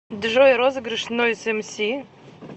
джой розыгрыш нойз эмси